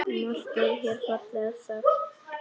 Margt er hér fallega sagt.